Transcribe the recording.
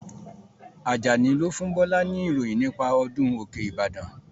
Ajani lo fún Bọlá ni ìròyìn nípa ọdún òkè ìbàdàn